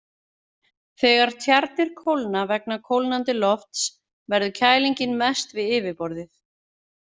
Þegar tjarnir kólna vegna kólnandi lofts verður kælingin mest við yfirborðið.